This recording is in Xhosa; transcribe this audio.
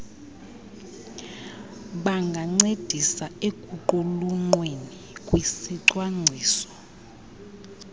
bangancedisa ekuqulunqweni kwesicwangciso